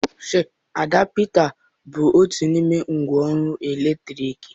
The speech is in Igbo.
Adapta bụ otu n'ime ngwa ọrụ eletriki.